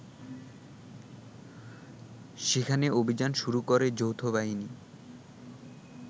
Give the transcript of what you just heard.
সেখানে অভিযান শুরু করে যৌথবাহিনী